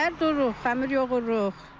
Səhər dururuq, xəmir yoğururuq.